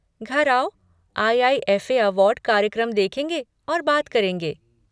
घर आओ IIFA. Award कार्यक्रम देखेंगे और बात करेंगे।